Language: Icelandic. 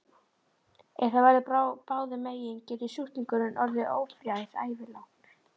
Ef það verður báðum megin getur sjúklingurinn orðið ófrjór ævilangt.